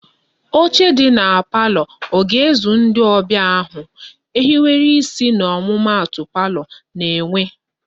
Oche dị na palọ ọ ga-ezu ndị ọbịa ahu? Ehiwere isi na omumata palọ na-enwe